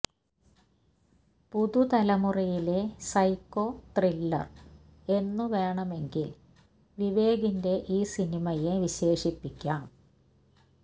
പുതുതലമുറയിലെ psycho thriller എന്നു വേണമെങ്കിൽ വിവേകിന്റെ ഈ സിനിമയെ വിശേഷിപ്പിക്കാം